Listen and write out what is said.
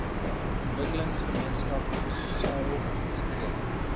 ontwikkelingsgemeenskap saog streek